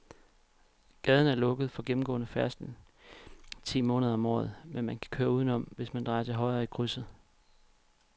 Gaden er lukket for gennemgående færdsel ti måneder om året, men man kan køre udenom, hvis man drejer til højre i krydset.